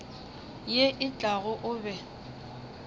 ye e tlago o be